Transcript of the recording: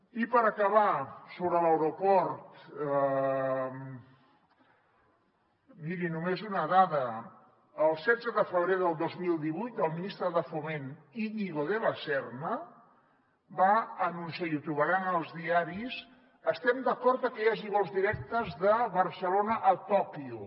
i per acabar sobre l’aeroport miri només una dada el setze de febrer del dos mil divuit el ministre de foment íñigo de la serna va anunciar i ho trobaran en els diaris estem d’acord amb que hi hagi vols directes de barcelona a tòquio